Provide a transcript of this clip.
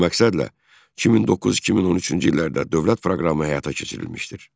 Bu məqsədlə 2009-2013-cü illərdə dövlət proqramı həyata keçirilmişdir.